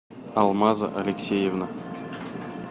алмаза алексеевна